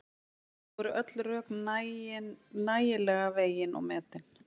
Nú eru öll rök nægilega vegin og metin.